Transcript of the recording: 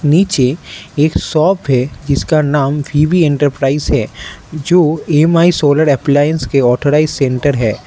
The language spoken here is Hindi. नीचे एक शॉप है जिसका नाम वी_बी एंटरप्राइज है जो एम_आई सोलर अप्लायंस के ऑथराइज्ड सेंटर है।